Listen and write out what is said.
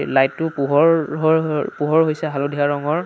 Light ও পোহৰ হৰ হৰ পোহৰ হৈছে হালধীয়া ৰঙৰ।